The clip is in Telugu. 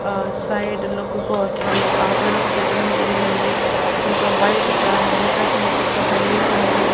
ఆ సైడు లుక్ కోసం ఒ ఆకులను కపెట్టడం జరిగింది ఇదొక వైట్ కార్ వెనక సైడ్ వచ్చేసి ఒక బిల్డింగ్ అనేది ఉంది.